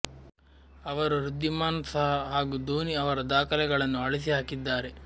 ಅವರು ವೃದ್ಧಿಮಾನ್ ಸಹಾ ಹಾಗೂ ಧೋನಿ ಅವರ ದಾಖಲೆಗಳನ್ನು ಅಳಿಸಿ ಹಾಕಿದ್ದಾರೆ